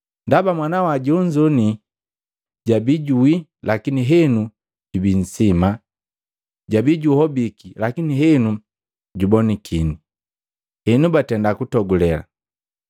Ndaba mwanangu jonzo jabi juwii, lakini henu jubi nsima, jabi juhobiki, lakini henu jubonakini. Henu batenda kutogule.’ ”